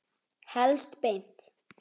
Helst beint.